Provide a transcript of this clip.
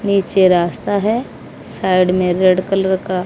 नीचे रास्ता है। साइड में रेड कलर का--